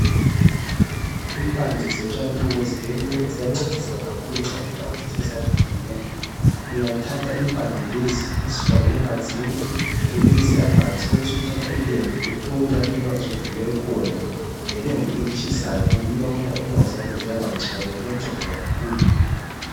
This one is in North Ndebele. Impande zotshani lobu ziyancedisa kakhulu nxa inyawo zithe savuvuka ,uyathatha impande lezi uzifake emanzini ubilise amanzi ubusuthatha ilembu uthobe la inyawo ezivuvuke khona ngelembu elitshisayo yikho uyabona inyawo zakho zisiba ngcono kuyanceda kakhulu.